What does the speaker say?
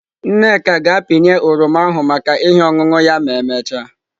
Nneka ga-apịnye oroma ahụ maka ihe ọṅụṅụ ya ma emechaa.